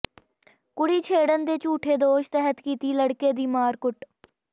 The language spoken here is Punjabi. ਕੁੜੀ ਛੇੜਣ ਦੇ ਝੂਠੇ ਦੋਸ਼ ਤਹਿਤ ਕੀਤੀ ਲੜਕੇ ਦੀ ਮਾਰਕੁੱਟ